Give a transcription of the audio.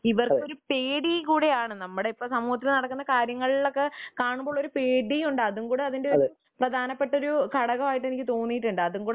ഇവർക്കൊരു പേടി കൂടിയാണ് നമ്മുടെ സമൂഹത്തിൽ ഇപ്പോൾ നടക്കുന്ന കാര്യങ്ങൾ ഒക്കെ കാണുമ്പോൾ പേടികൂടെയാണ് .അതും കൂടി ഒരു പ്രധാനപ്പെട്ട ഘടകമായി എനിക്ക് തോന്നിയിട്ടുണ്ട്